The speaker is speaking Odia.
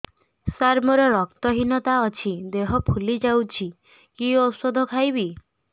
ସାର ମୋର ରକ୍ତ ହିନତା ଅଛି ଦେହ ଫୁଲି ଯାଉଛି କି ଓଷଦ ଖାଇବି